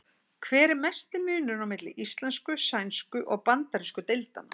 Hver er mesti munurinn á milli íslensku-, sænsku- og bandarísku deildanna?